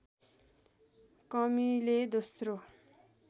कमीले दोस्रो